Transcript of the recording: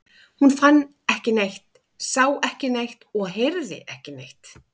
Hún fann ekki neitt, sá ekki neitt og heyrði ekki neitt.